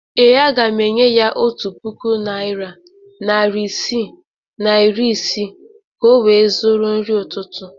Ee, aga m enye ya otu puku naịra, narị isii na iri ise ka ọ wee zụrụ nri ụtụtụ.